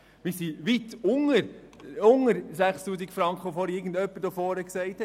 Wir sind weit unter den 6000 Franken, die ein Vorredner genannt hat.